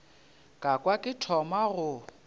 ka kwa ke thoma go